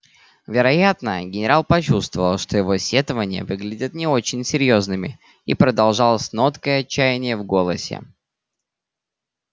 вероятно генерал почувствовал что его сетования выглядят не очень серьёзными и продолжал с ноткой отчаяния в голосе